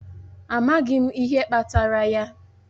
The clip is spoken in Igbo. Amaghị m ihe kpatara ya.